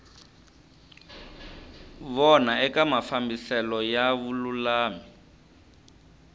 vona eka mafambiselo ya vululami